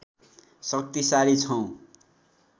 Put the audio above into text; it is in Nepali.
शक्तिशाली छौं